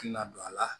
Ladon a la